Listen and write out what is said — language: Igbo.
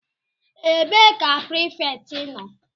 Ebee ka prefect nọ?